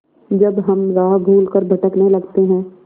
जब हम राह भूल कर भटकने लगते हैं